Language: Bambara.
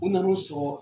U nan'u sɔrɔ